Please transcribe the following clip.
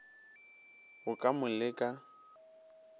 go ka mo le ka